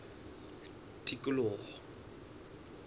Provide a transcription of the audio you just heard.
tikoloho